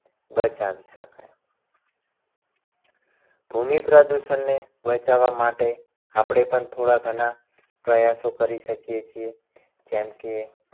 બચાવી શકાય. ભૂમિ પ્રદૂષણને બચાવવા માટે આપણે પણ થોડા ઘણા પ્રયાસો કરી શકીએ છીએ. જેમ કે